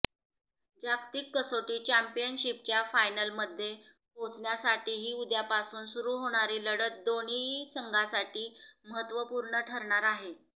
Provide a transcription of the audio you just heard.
जागतिक कसोटी चॅम्पियनशिपच्या फायनलमध्ये पोहोचण्यासाठीही उद्यापासून सुरू होणारी लढत दोन्ही संघांसाठी महत्त्वपूर्ण ठरणार आहे